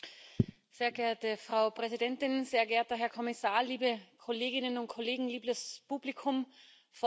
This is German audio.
Frau Präsidentin, sehr geehrter Herr Kommissar, liebe Kolleginnen und Kollegen, liebes Publikum vor den Bildschirmen!